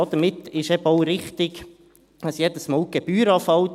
Damit ist eben auch richtig, dass jedes Mal die Gebühr anfällt.